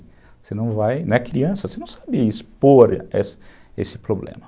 Você não vai... né, criança, você não sabe expor esse esse problema.